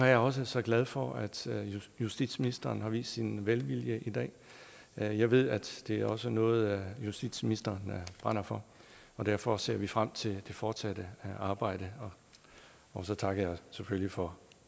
jeg også så glad for at justitsministeren har vist sin velvilje i dag jeg jeg ved det også er noget justitsministeren brænder for og derfor ser vi frem til det fortsatte arbejde og så takker jeg selvfølgelig for